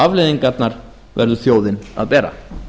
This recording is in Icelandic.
afleiðingarnar verður þjóðin að bera